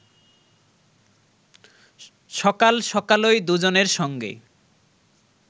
সকাল সকালই দুজনের সঙ্গে